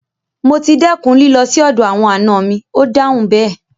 Mo ti dẹ́kun lílọ sì ọ̀dọ̀ àwọn àna mi, Ó dáhùn bẹ́ẹ̀.